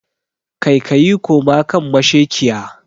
Kai kayi koma kan mashekiya